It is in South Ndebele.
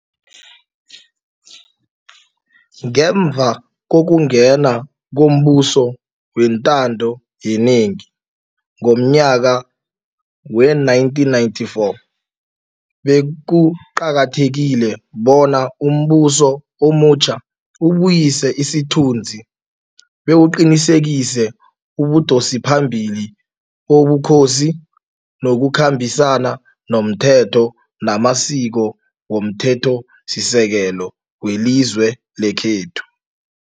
Ngemva kokungena kombuso wentando yenengi ngomnyaka we-1994, be kuqakathekile bona umbuso omutjha ubuyise isithunzi bewuqinisekise ubudosiphambili bobukhosi nokukhambisana nomthetho namasiko womThethosisekelo welizwe lekhethu.